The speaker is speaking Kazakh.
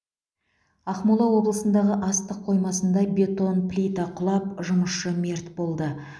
ақмола облысындағы астық қоймасында бетон плита құлап жұмысшы мерт болды